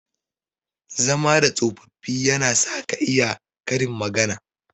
Zama da tsofaffi yana sa ka iya Karin magana.